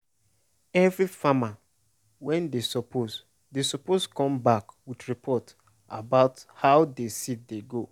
every farmer wey dey suppose dey suppose come back with report about how de seed dey do.